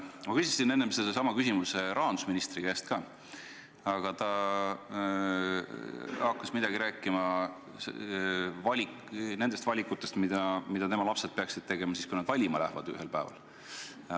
Ma küsisin enne sellesama küsimuse rahandusministri käest ka, aga ta hakkas midagi rääkima nendest valikutest, mida tema lapsed peaksid tegema, kui nad ühel päeval valima lähevad.